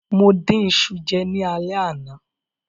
Mo dín iṣu jẹ ní alẹ́ àná.